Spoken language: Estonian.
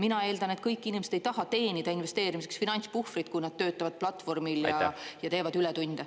Mina eeldan, et kõik inimesed ei taha teenida investeerimiseks finantspuhvrit, kui nad töötavad platvormil ja teevad ületunde.